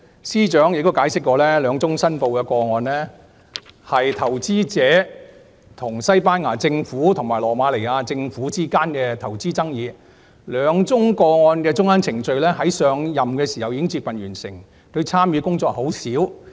司長解釋，兩宗申報個案涉及投資者與西班牙政府及羅馬尼亞政府之間的投資爭議，兩宗個案的中間程序在她上任時已接近完成，她參與的工作很少。